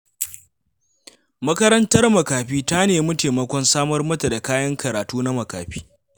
Makarantar makafi ta nemi taimakon samar mata da kayan karatu na makafi.